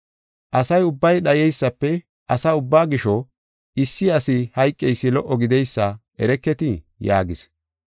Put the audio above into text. Asa ubbay dhayeysafe asa ubbaa gisho issi asi hayqeysi lo77o gideysa ereketii?” yaagis.